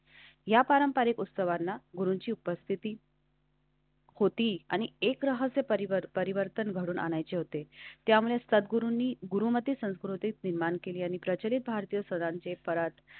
या पारंपारिक उत्सवांना गुरूंची उपस्थिती होती. आणि एक राहे परिवार परिवर्तन घडवून आणायचे होते. त्यामुळे असतात. संतगुरू गुरूंनी गुरु ती संस्कृतीच निर्माण केली आणि प्रचलित भारतीय संघांचे परत.